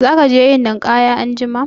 Za ka je yin ninƙaya anjima?